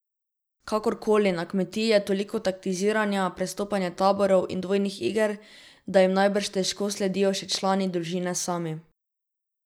Kakorkoli, na Kmetiji je toliko taktiziranja, prestopanja taborov in dvojnih iger, da jim najbrž težko sledijo še člani družine sami.